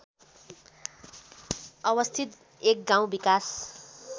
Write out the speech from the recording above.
अवस्थित एक गाउँ विकास